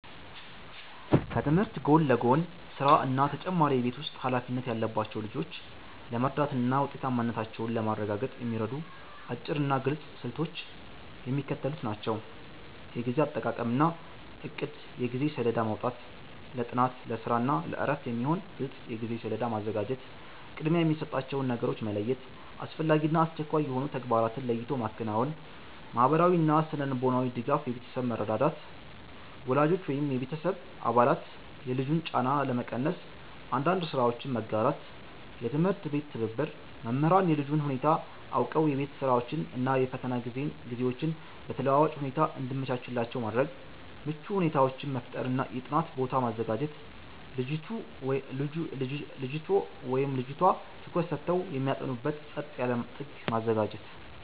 ከትምህርት ጎን ለጎን ስራ እና ተጨማሪ የቤት ውስጥ ኃላፊነት ያለባቸውን ልጆች ለመርዳትና ውጤታማነታቸውን ለማረጋገጥ የሚረዱ አጭርና ግልጽ ስልቶች የሚከተሉት ናቸው፦ የጊዜ አጠቃቀምና እቅድ የጊዜ ሰሌዳ ማውጣት፦ ለጥናት፣ ለስራ እና ለእረፍት የሚሆን ግልጽ የጊዜ ሰሌዳ ማዘጋጀት። ቅድሚያ የሚሰጣቸውን ነገሮች መለየት፦ አስፈላጊና አስቸኳይ የሆኑ ተግባራትን ለይቶ ማከናወን። ማህበራዊና ስነ-ልቦናዊ ድጋፍ የቤተሰብ መረዳዳት፦ ወላጆች ወይም የቤተሰብ አባላት የልጁን ጫና ለመቀነስ አንዳንድ ስራዎችን መጋራት። የትምህርት ቤት ትብብር፦ መምህራን የልጁን ሁኔታ አውቀው የቤት ስራዎችን እና የፈተና ጊዜዎችን በተለዋዋጭ ሁኔታ እንዲያመቻቹላቸው ማድረግ። ምቹ ሁኔታዎችን መፍጠር የጥናት ቦታ ማዘጋጀት፦ ልጅቱ/ቷ ትኩረት ሰጥተው የሚያጠኑበት ጸጥ ያለ ጥግ ማዘጋጀት።